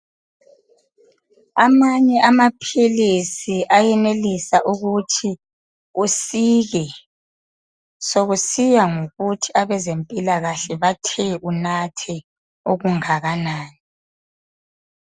Amanye amaphilisi ayenelisa ukuthi usile ,sokusiya ngokuthi abezempilakahle bathe unathe okungakanani.